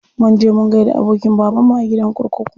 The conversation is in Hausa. Mun je mun gaida abokin babanmu a gidan kurkuku.